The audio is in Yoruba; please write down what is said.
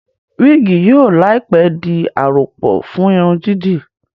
wigi yóò láìpé dì a àròpọ̀ fún Irun dídì